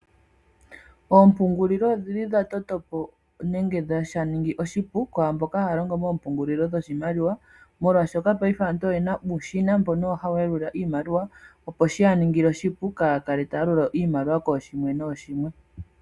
Oompungulilo odhili dha totopo nenge sha ningi oshipu kwaamboka haya longo moompungulilo dhoshimaliwa molwaashoka ngashingeyi aantu oyena uushina mbono owo hawu yalula iimaliwa opo shi yaningile oshipu kaaya kale taya yalula oshimaliwa kooshimwe nooshimwe.